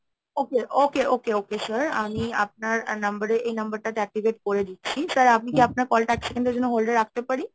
okay okay okay okay okay sir আমি আপনার number এ এই number টাতে activate করে দিচ্ছি। sir আপনি কি আপনার call টা এক second এর জন্য hold এ রাখতে পারি?